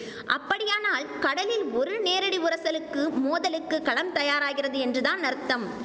அப்படியானால் கடலில் ஒரு நேரடி உரசலுக்கு மோதலுக்கு களம் தயாராகிறது என்றுதான் அர்த்தம்